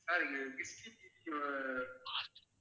sir